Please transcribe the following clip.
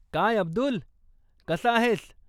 काय अब्दुल, कसा आहेस?